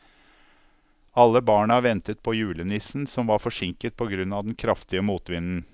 Alle barna ventet på julenissen, som var forsinket på grunn av den kraftige motvinden.